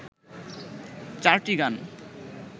চারটি গান